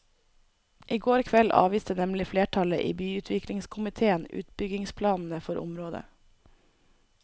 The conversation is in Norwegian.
I går kveld avviste nemlig flertallet i byutviklingskomitéen utbyggingsplanene for området.